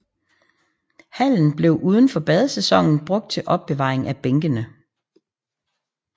Hallen blev udenfor badesæsonen brugt til opbevaring af bænkene